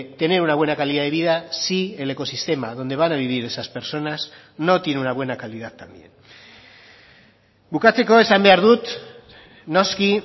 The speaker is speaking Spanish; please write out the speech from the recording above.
tener una buena calidad de vida si el ecosistema donde van a vivir esas personas no tiene una buena calidad también bukatzeko esan behar dut noski